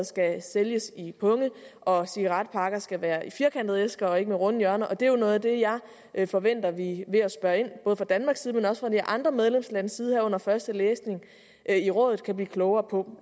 skal sælges i punge og at cigaretpakker skal være firkantede æsker og ikke have runde hjørner det er jo noget af det jeg forventer at vi ved at spørge fra danmarks side men også fra de andre medlemslandes side her under første læsning i rådet kan blive klogere på